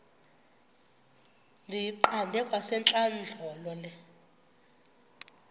ndiyiqande kwasentlandlolo le